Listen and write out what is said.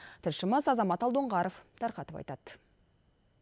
тілшіміз азамат алдоңғаров тарқатып айтады